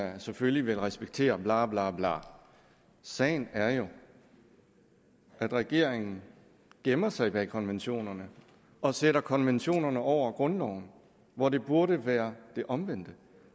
at man selvfølgelig vil respektere bla bla bla sagen er jo at regeringen gemmer sig bag konventionerne og sætter konventionerne over grundloven hvor det burde være omvendt